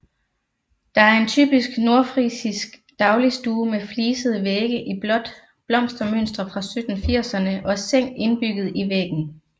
Der er en typisk nordfrisisk dagligstue med flisede vægge i blåt blomstermønster fra 1780erne og seng indbygget i væggen